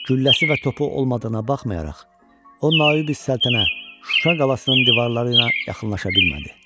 Gülləsi və topu olmadığına baxmayaraq, o Nayib-i Səltənə Şuşa qalasının divarları ilə yaxınlaşa bilmədi.